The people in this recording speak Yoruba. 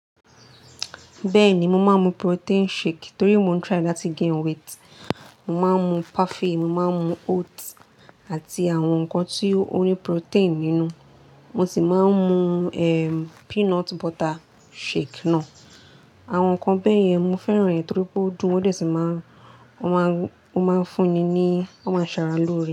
Bẹ́ẹ̀ni, mo máa ń mu protein shake torí mo ń try láti gain weight. Mo máa ń mu perfait, mo máa ń mu oats àti àwọn nǹkan tí ó ní protein nínú. Mo sì máa ń mu, ehn, peanut butter shake náà. Àwọn nǹkan bẹ́ẹ̀ yẹn mo fẹ́ràn rẹ̀ torí pé ó dùn, wọ́n sì máa ń, ó máa ń, ó máa ń fún ni ní, ó máa ń ṣàrà lórí.